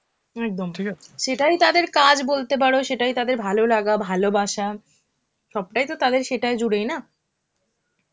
একদম সেটাই তাদের কাজ বলতে পারো, সেটাই তাদের ভালোলাগা, ভালোবাসা, সবটাই তো তাদের সেটায় জুড়েই না.